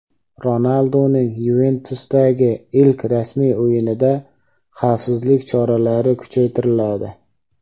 Ronalduning "Yuventus"dagi ilk rasmiy o‘yinida xavfsizlik choralari kuchaytiriladi.